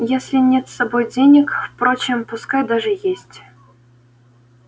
если нет с собой денег впрочем пускай даже есть